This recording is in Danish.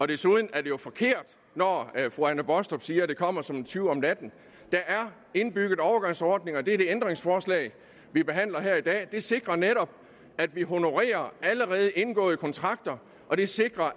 desuden er det jo forkert når fru anne baastrup siger at det kommer som en tyv om natten der er indbygget overgangsordninger og det er det ændringsforslag vi behandler her i dag det sikrer netop at vi honorerer allerede indgåede kontrakter og det sikrer